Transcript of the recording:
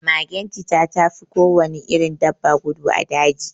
Magen cita tafi kowane irin dabba gudu a daji